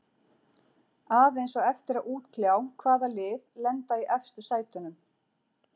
Aðeins á eftir að útkljá hvaða lið lenda í efstu sætunum.